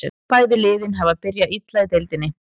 Bæði liðin hafa byrjað illa í deildinni.